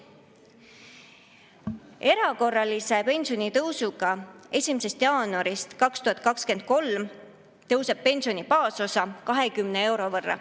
Erakorralise pensionitõusuga tõuseb 1. jaanuarist 2023 pensioni baasosa 20 euro võrra.